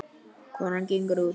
Konan gengur út.